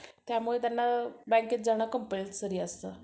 त्यामुळे त्यांना बँकेत जाणं compulsory असतं.